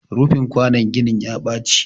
rufin kwanon ginin ya Baci